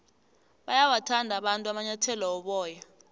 bayawathanda abantu amanyathele woboya